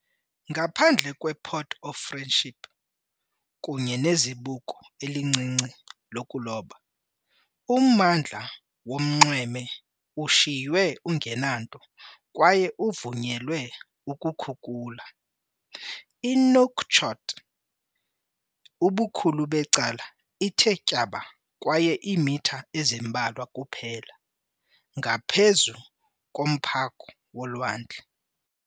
Ngaphandle kwePort of Friendship kunye nezibuko elincinci lokuloba, ummandla wonxweme ushiywe ungenanto kwaye uvunyelwe ukukhukula. INouakchott ubukhulu becala ithe tyaba kwaye iimitha ezimbalwa kuphela ngaphezu komphakamo wolwandle.